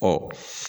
Ɔ